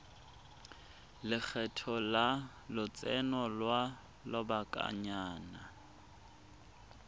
lekgetho la lotseno lwa lobakanyana